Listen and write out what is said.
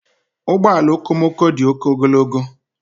Ụgbọ ala okomoko dị oke ogologo.